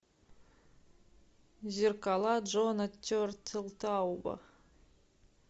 зеркала джона тертелтауба